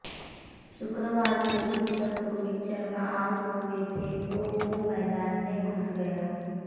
शुक्रवार को भी जब रोहित शर्मा आउट हुए थे तो वो मैदान में घुस गया